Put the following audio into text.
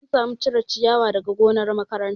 An samu cire ciyawa daga gonar makaranta